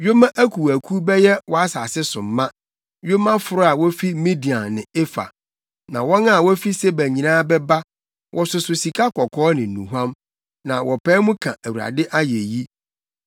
Yoma akuwakuw bɛyɛ wʼasase so ma, yomaforo a wufi Midian ne Efa. Na wɔn a wofi Seba nyinaa bɛba, wɔsoso sika kɔkɔɔ ne nnuhuam na wɔpae mu ka Awurade ayeyi.